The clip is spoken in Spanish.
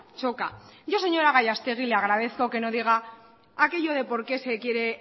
choca yo señora gallastegui le agradezco que no diga aquello de por qué se quiere